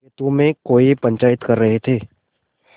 खेतों में कौए पंचायत कर रहे थे